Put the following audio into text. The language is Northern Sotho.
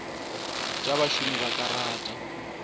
tša bašomi ba ka rata